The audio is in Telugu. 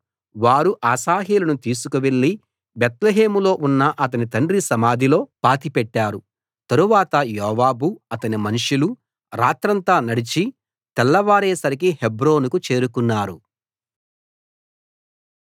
వారు అశాహేలును తీసుకువెళ్ళి బేత్లెహేములో ఉన్న అతని తండ్రి సమాధిలో పాతిపెట్టారు తరువాత యోవాబు అతని మనుషులు రాత్రంతా నడిచి తెల్లవారేసరికి హెబ్రోనుకు చేరుకున్నారు